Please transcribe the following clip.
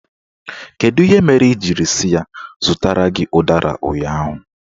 Kedu ihe mere ị jiri sị ya zụtara gị ụdara ụnyaahụ?